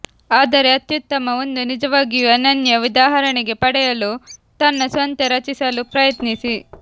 ಆದರೆ ಅತ್ಯುತ್ತಮ ಒಂದು ನಿಜವಾಗಿಯೂ ಅನನ್ಯ ಉದಾಹರಣೆಗೆ ಪಡೆಯಲು ತನ್ನ ಸ್ವಂತ ರಚಿಸಲು ಪ್ರಯತ್ನಿಸಿ